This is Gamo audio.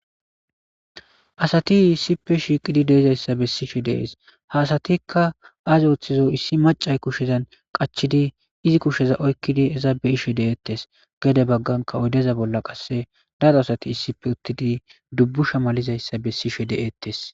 asati issipe shiiqidi deezayssa bessishe dees ha asatikka azi ooththizo issi macay kushezan qachidi izi kusheza oykkidi eza be ishe de7eettes geede bagganka oydeza bolla qasse daro asati issipe uttidi dubbu shamalizayssa bessishe de7ettes